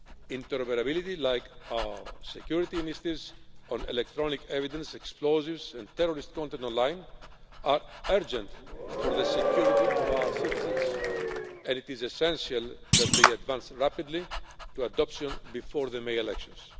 Interoperability, like our security initiatives on electronic evidence, explosives and terrorist content online, is vital for the security of our citizens, and it is essential that they advance rapidly to adoption before the May elections.